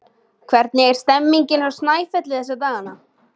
Hvernig er stemmningin hjá Snæfelli þessa dagana?